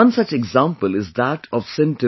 One such example is that of St